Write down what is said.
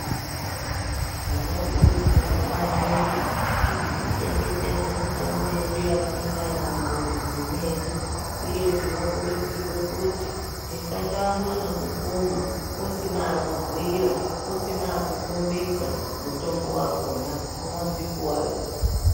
Tinokurudzirwa maningi kuti tichengetedze mitombo yedu yatiinayo mumamizi mwedu. Uye tinokurudzirwe kuti tisandoamba ngekukuma usina wakubhuira, usina wakukhombidza mutombo wakhona, unodzikuwadza.